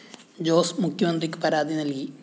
ജോസ് മുഖ്യമന്ത്രിക്ക് പരാതി നല്‍കി